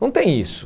Não tem isso.